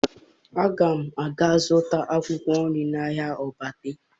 Aga m aga zụta akwụkwọ nri n'ahịa Ogbete